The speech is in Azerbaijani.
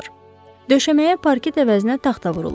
Döşəməyə parket əvəzinə taxta vurulub.